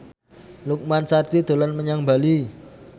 Lukman Sardi dolan menyang Bali